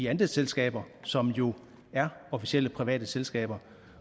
andelsselskaber som jo er officielle private selskaber